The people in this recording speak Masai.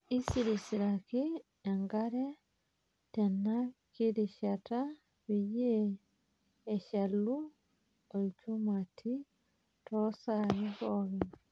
Isirisiraki enkare tenakirishata peyie eshalu olchumati toosai pookin.